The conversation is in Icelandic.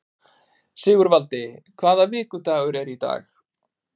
Sigurvaldi, hvaða vikudagur er í dag?